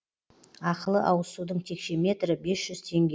ақылы ауызсудың текше метрі бес жүз теңге